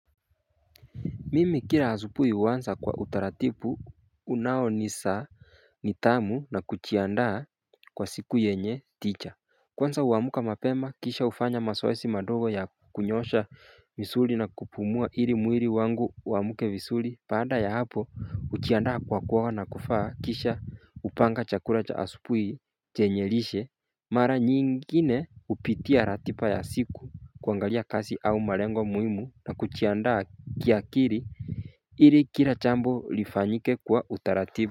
Mimi kila asubuhi huanza kwa utaratibu unaonisa nidhamu na kujiandaa kwa siku yenye tija. Kwanza huamuka mapema kisha hufanya mazoezi madogo ya kunyosha misuli na kupumua ili mwili wangu uamuke vizuli. Baada ya hapo hujiandaa kwa kuoga na kuvaa kisha hupanga chakula cha asubuhi chenye lishe. Mara nyingine hupitia ratiba ya siku kuangalia kazi au malengo muhimu na kujiandaa kiakili ili kila jambo lifanyike kwa utaratiba.